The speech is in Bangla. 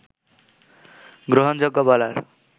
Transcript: গ্রহণযোগ্য বলার